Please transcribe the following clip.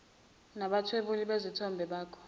nabathwebuli bezithombe bakha